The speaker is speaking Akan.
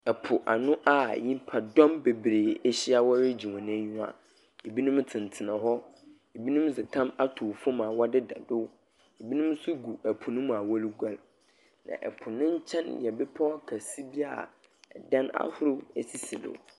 Ɛpo ano a nyimpa dɔm bebree ehyia wɔregye wɔn enyiwa. Ebinom tsenatsena hɔ, ebinom dze tam atow fom a wɔdedado, ebinom so gu ɛpo ne mu a wɔre guar na ɛpo ne nkyɛn yɛ bepɔ akɛse bi a ɛdan ahoro esisi do.